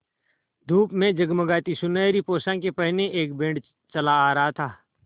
धूप में जगमगाती सुनहरी पोशाकें पहने एक बैंड चला आ रहा था